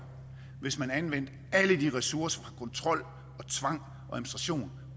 hvis man anvendte alle de ressourcer på kontrol og tvang